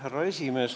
Härra esimees!